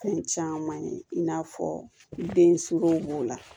Fɛn caman ye in n'a fɔ den sugu b'o la